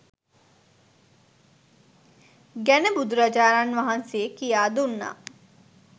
ගැන බුදුරජාණන් වහන්සේ කියා දුන්නා